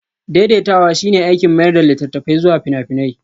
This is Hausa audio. Daidaitawa shine aikin mayar da littattafai zuwa fina-finai